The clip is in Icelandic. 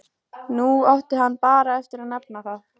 Nú átti hann bara eftir að nefna það.